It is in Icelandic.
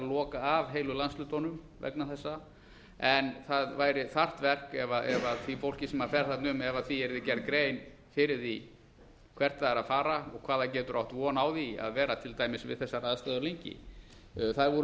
loka af heilu landshlutana vegna þessa en það væri þarft verk ef því fólki sem fer þarna um yrði gerð grein fyrir því hvert það er að fara og á hverju það getur átt von að vera til dæmis við þessar aðstæður lengi það voru